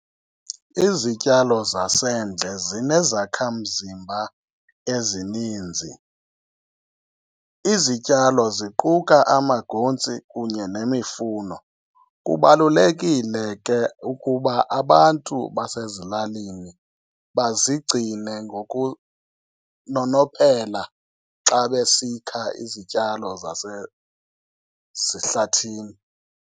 Iizityalo zasendle zinezakha mzimba ezininzi. Izityalo ziquka amagontsi kunye nemifuno. Kubalulekile ke ukuba abantu basazilaleni bazigcine ngokunonophela xa besikha izityalo zehlathini.